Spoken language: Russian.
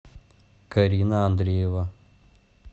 карина андреева